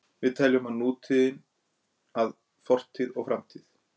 Við teljum að nútíðin skilji að fortíð og framtíð.